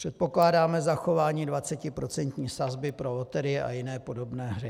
Předpokládáme zachování 20% sazby pro loterie a jim podobné hry.